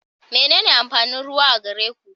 Menene amfanin ruwa a gere ku?